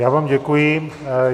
Já vám děkuji.